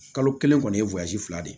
Kalo kelen kɔni ye fila de ye